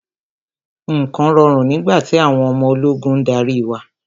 Nǹkan rọrùn nígbà tí àwọn ọmọ ológun ń darí wa.